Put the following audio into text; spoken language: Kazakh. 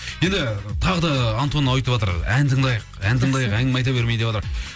енді тағы да антон айтыватыр ән тыңдайық ән тыңдайық жақсы әңгіме айта бермей деп айтыватыр